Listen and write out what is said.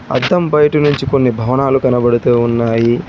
అద్దం బయట నుంచి కొన్ని భవనాలు కనబడుతూ ఉన్నాయి.